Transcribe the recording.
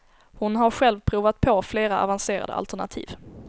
Hon har själv provat på flera avancerade alternativ.